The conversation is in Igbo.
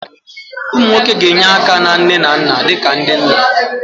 Ụmụ nwoke ga-enye aka na nne na nna dị ka ndị nna